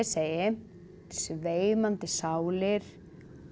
segi sveimandi sálir